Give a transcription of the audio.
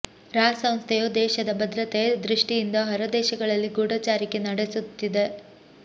ರಾ ಸಂಸ್ಥೆಯು ದೇಶದ ಭದ್ರತೆ ದೃಷ್ಟಿಯಿಂದ ಹೊರ ದೇಶಗಳಲ್ಲಿ ಗೂಢಚಾರಿಕೆ ನಡೆಸುತ್ತದೆ